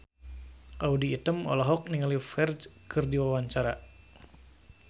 Audy Item olohok ningali Ferdge keur diwawancara